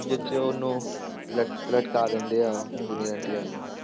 ਜਿਹ 'ਚ ਉਹਨੂੰ ਲਟ~ ਲਟਕਾ ਦਿੰਦੇ ਆ junior NTR ਨੂੰ,